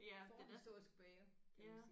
Ja den er ja